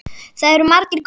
Það eru margir góðir.